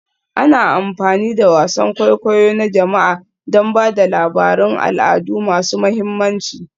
Ana amfani da wasan kwaikwayo na jama'a don ba da labarun al'adu masu mahimmanci